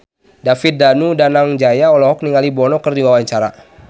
David Danu Danangjaya olohok ningali Bono keur diwawancara